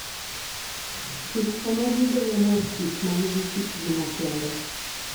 Kich ema gigolo mor kich ma nigi kitgi makende.